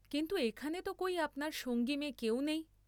কিন্তু এখানে ত কই আপনার সঙ্গী মেয়ে কেউ নেই।